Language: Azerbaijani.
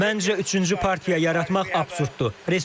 Məncə, üçüncü partiya yaratmaq absurddur.